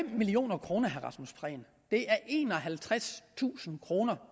million kroner er enoghalvtredstusind kroner